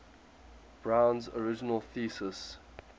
brown's original thesis